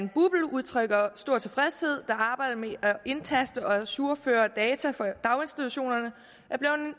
udtrykker stor tilfredshed da arbejdet med at indtaste og ajourføre data for daginstitutionerne